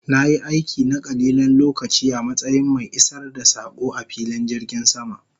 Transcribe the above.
Na yi aiki na kalilan lokaci a matsayin mai isar da sako a filin jirgin sama